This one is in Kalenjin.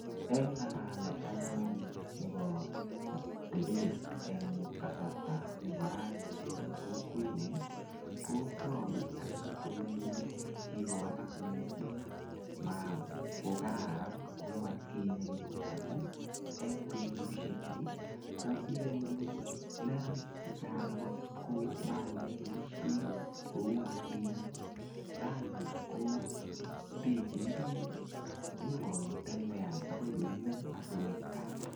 Eng ngalalet anyun nebo atebet eng kasarta nebo raani eng kokwenyu, kotagu anyun kole kogowalak mising makou atkinye amu eng betusie chu ko inyoru neranik chechang ko makoyoe boisiet kou atkinye. Raaini ko bechinigei nyokotembean agoi koimen asigoit kaa.